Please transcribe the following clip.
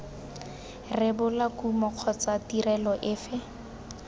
rebola kumo kgotsa tirelo efe